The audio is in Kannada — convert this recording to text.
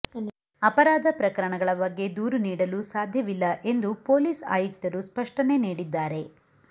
ಅಪರಾಧ ಪ್ರಕರಣಗಳ ಬಗ್ಗೆ ದೂರು ನೀಡಲು ಸಾಧ್ಯವಿಲ್ಲ ಎಂದು ಪೊಲೀಸ್ ಆಯುಕ್ತರು ಸ್ಪಷ್ಷನೆ ನೀಡಿದ್ದಾರೆ